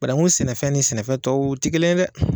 Bananku sɛnɛfɛn ni sɛnɛfɛn tɔw tɛ kelen ye dɛ.